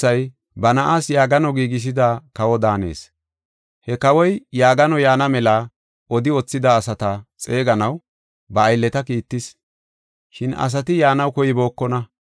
He kawoy yaagano yaana mela odi wothida asata xeeganaw ba aylleta kiittis. Shin asati yaanaw koybookona.